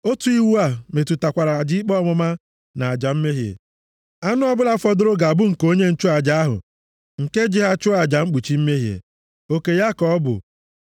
“ ‘Otu iwu a metụtakwara aja ikpe ọmụma na aja mmehie. Anụ ọbụla fọdụrụ ga-abụ nke onye nchụaja ahụ nke ji ha chụọ aja mkpuchi mmehie. Oke ya ka ọ bụ.